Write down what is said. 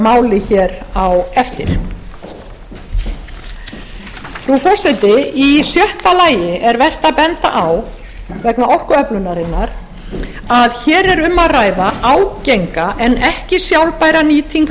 máli hér á eftir frú forseti í sjötta lagi er vert að benda á vegna orkuöflunarinnar að hér er um að ræða ágenga en ekki sjálfbæra nýtingu